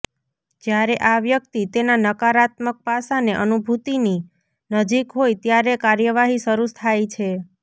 જ્યારે આ વ્યક્તિ તેના નકારાત્મક પાસાંને અનુભૂતિની નજીક હોય ત્યારે કાર્યવાહી શરૂ થાય છે